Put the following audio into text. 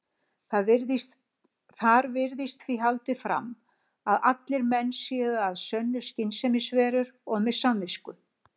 Þar virðist því haldið fram að allir menn séu að sönnu skynsemisverur og með samvisku.